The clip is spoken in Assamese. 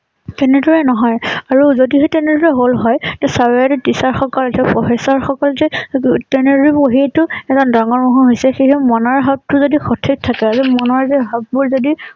তেনেদৰে নহয়। আৰু যদিহে তেনেদৰে হল হয় তেতিয়া হলে চাৰ বাইদেউ teacher সকল কলেজৰ professor সকল যে তেনেদৰে পঢ়ীয়ে টো এজন ডাঙৰ মানুহ হৈছে সেইহে মনৰ ভাব টো যদি সঠিক থাকে আৰু মনৰ যে ভাৱ বোৰ যদি